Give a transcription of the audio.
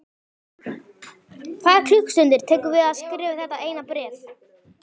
Tvær klukkustundir tekur að skrifa þetta eina bréf.